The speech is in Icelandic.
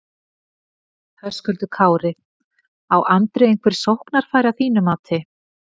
Höskuldur Kári: Á Andri einhver sóknarfæri að þínu mati?